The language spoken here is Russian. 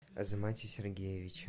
азамате сергеевиче